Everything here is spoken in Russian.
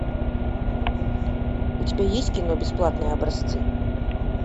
у тебя есть кино бесплатные образцы